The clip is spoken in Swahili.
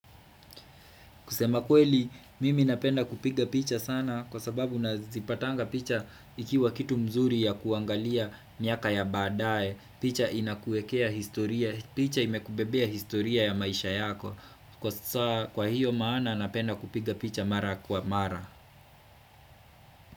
Kusema kweli mimi napenda kupiga picha sana kwa sababu nazipatanga picha ikiwa kitu mzuri ya kuangalia miaka ya baadae. Picha inakuekea historia. Picha imekubebea historia ya maisha yako. Kwa hiyo maana napenda kupiga picha mara kwa mara.